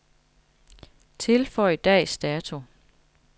Tilføj dags dato.